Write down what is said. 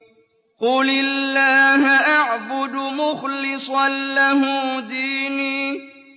قُلِ اللَّهَ أَعْبُدُ مُخْلِصًا لَّهُ دِينِي